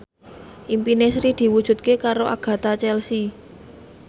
impine Sri diwujudke karo Agatha Chelsea